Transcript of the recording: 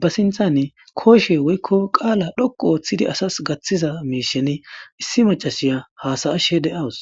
ba sinthan koshe woykko qaala dhoqu ooththidi asas gaththiza miisheni issi macasiya hasayashe deawus